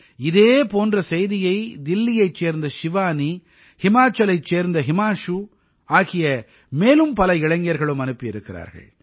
இதே போன்ற செய்தியை தில்லியைச் சேர்ந்த ஷிவானி ஹிமாச்சலைச் சேர்ந்த ஹிமான்ஷு ஆகிய மேலும் பல இளைஞர்களும் அனுப்பியிருக்கிறார்கள்